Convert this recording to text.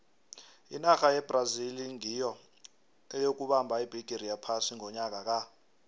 inarha yebrazil nyiyo eyokubamba ibhigiri yephasi ngonyaka ka